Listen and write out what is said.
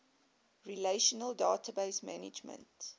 relational database management